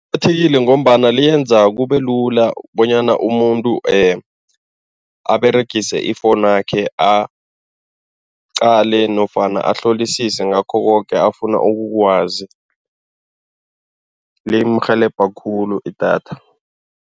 ngombana liyenza kube lula bonyana umuntu aberegise ifowunakhe aqale nofana ahlolisise ngakho koke afuna ukukwazi, limrhelebha khulu idatha.